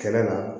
Kɛnɛ la